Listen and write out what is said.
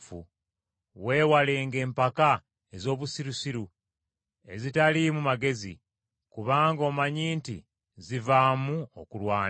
Weewalenga empaka ez’obusirusiru, ezitaliimu magezi, kubanga omanyi nti zivaamu okulwana.